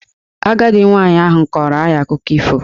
Agadi nwaanyị ahụ kọọrọ anyị akụkọ ifo.